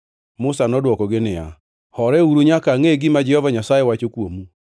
Musa nodwokogi niya, “Horeuru nyaka angʼe gima Jehova Nyasaye wacho kuomu.”